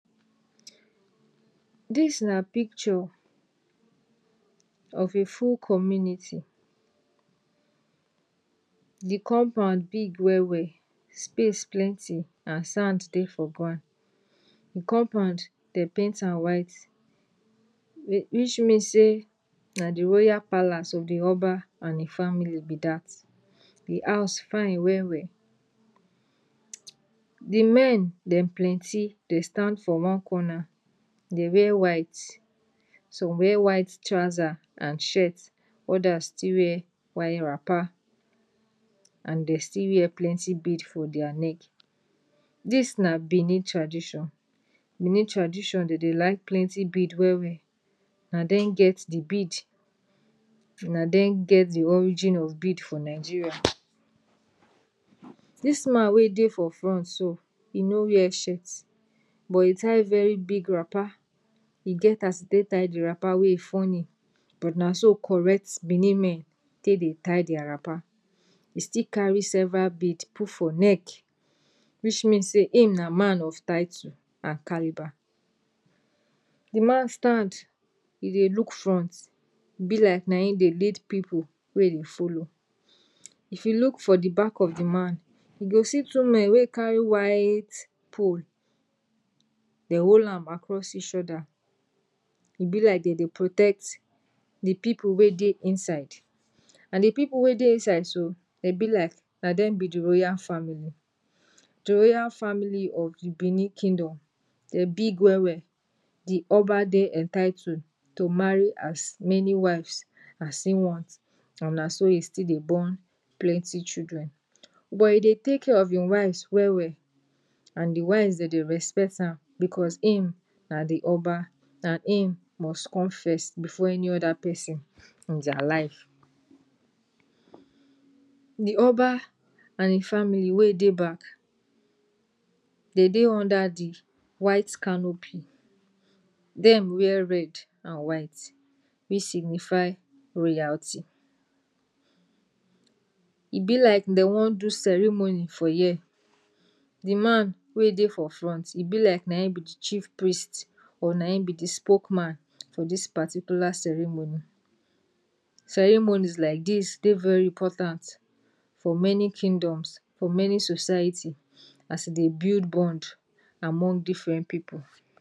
dis na picture of a full community the compound big well well, space plenty and sand Dey for grand, the compound, dem paint am white wish wish mean say na the royal palace of the oba and the family be dat, the house fine wel wel the men dem plenty, dey stand for one corner Dey wear white, some wear white trouser and shirt, odas still wear while wrapper and der still wear plenty bead for dia neck, dis na Benin tradition, Benin tradition den Dey like plenty bead well well, na dem get the bead, na den get the origin of bead for Nigeria, dis man wey Dey for front so, e no wear shirt, but e tie very big wrapper, e get as e take tie the wrapper wey e funny but naso correct Benin men tay Dey tie dia wrapper, e still carry several bead put for neck which mean say him na man of title and caliber the man stand, e Dey look front, e be like na hin Dey lead pipu wey Dey follow, if you look for the back of the man, you go see two men wey carry white pole dem hol am across ish oda, e be like den Dey protect the pipu wey Dey inside and the pipu wey Dey inside so, dem be like na dem be the royal family the royal family of the Benin kingdom, dem big well well, the oba Dey entitled to marry as many wives as him want, and na so he still Dey born plenty chudren, buh e Dey take care of in wives well well and the wives den Dey respect am bcuz im na the oba, na im must come fess before any oda pesin in dia life, the oba and im family wey Dey back, Dey Dey under di white canopy, dem wear red and white which signify royalty, e be like dem wan do ceremony for year, the man wey Dey for front, e be like na hin be the chief priest or na hin be the spokeman for dis particular ceremony, ceremonies lai dis Dey very important for many kingdoms, for many society as e Dey build bond among different pipu.